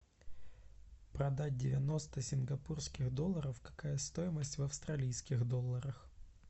продать девяносто сингапурских доллара какая стоимость в австралийских долларах